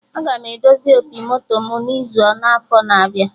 Aga m edozi opi moto mụ n'izu n'afọ na-abịa